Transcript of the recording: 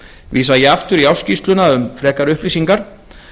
vísa ég aftur í ársskýrsluna um frekari upplýsingar